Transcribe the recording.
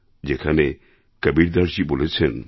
যেখানে কবীরদাসজী বলেছেন